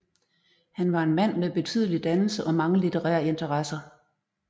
Han var en mand med betydelig dannelse og mange litterære interesser